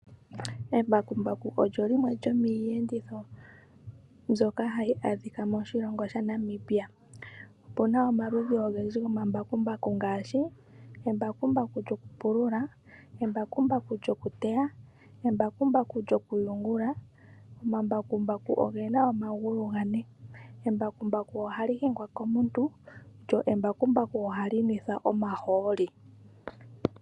Embakumbaku olyo limwe lyomiiyenditho mbyoka hayi adhika moshilongo shaNamibia. Opuna omaludhi ogendji gomambakumbaku ngaashi, embakumbaku lyokupulula, embakumbaku lyokuteya, embakumbaku lyokuyungula. Omambakumbaku ogena omagulu gane. Embakumbaku ohali hingwa komuntu lyo embakumbaku ohali nwethwa omahooli.